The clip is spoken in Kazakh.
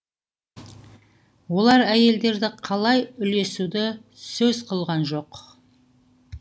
олар әйелдерді қалай үлесуді сөз қылған жоқ